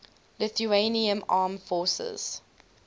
lithuanian armed forces